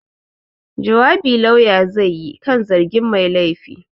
Jawabi Lauya zai yi kan zargin mai laifi.